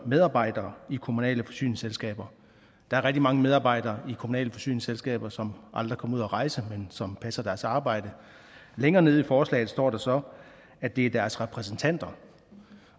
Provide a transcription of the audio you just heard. medarbejdere i kommunale forsyningsselskaber der er rigtig mange medarbejdere i kommunale forsyningsselskaber som aldrig kommer ud at rejse som passer deres arbejde længere nede i forslaget står der så at det er deres repræsentanter